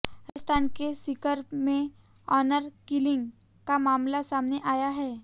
राजस्थान के सीकर में honour killing का मामला सामने आया है